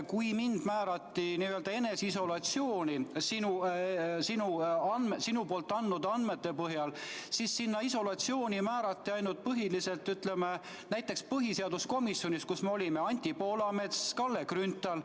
Kui mind määrati sinu teate peale eneseisolatsiooni, siis isolatsiooni määrati need, kes me põhiseaduskomisjonis olime: Anti Poolamets, Kalle Grünthal.